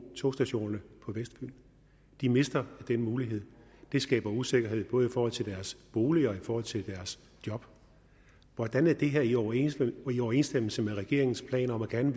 togstationerne på vestfyn de mister den mulighed det skaber usikkerhed både i forhold til deres bolig og i forhold til deres job hvordan er det her i overensstemmelse overensstemmelse med regeringens planer om gerne